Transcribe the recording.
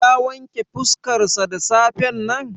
Ya wanke fuskarsa da safen nan?